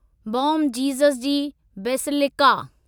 bomb Jesus जी basilica